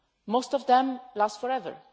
Most of them last forever.